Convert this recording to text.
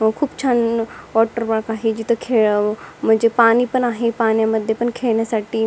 व खूप छान वॉटर पार्क आहे जिथ खेळाव म्हणजे पाणी पण आहे पाण्यामध्ये पण खेळण्यासाठी.